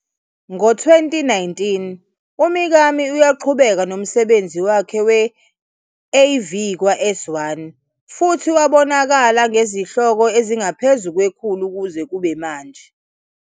Ngo-2019, uMikami uyaqhubeka nomsebenzi wakhe we-AV kwa-S1 futhi wabonakala ngezihloko ezingaphezu kwekhulu kuze kube manje.